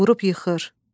vurub yıxır.